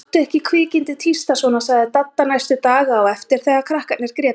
Láttu ekki kvikindið tísta svona sagði Dadda næstu daga á eftir þegar krakkarnir grétu.